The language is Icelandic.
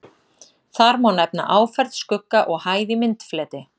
Þar má nefna áferð, skugga og hæð í myndfleti.